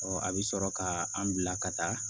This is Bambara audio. a bɛ sɔrɔ ka an bila ka taa